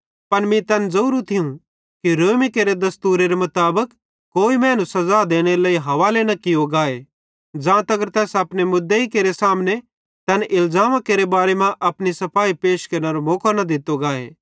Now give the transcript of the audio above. पन मीं तैन ज़ोरू थियूं कि रोमी केरे दस्तूरेरे मुताबिक कोई मैनू सज़ा देनेरे लेइ हवाले न कियो गाए ज़ां तगर तैस अपने मुदेइ केरे सामने तैन इलज़ामा केरे बारे मां अपनी सफाई पैश केरनेरो मौको न दित्तो गाए